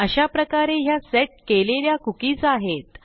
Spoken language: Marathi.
अशाप्रकारे ह्या सेट केलेल्या cookiesआहेत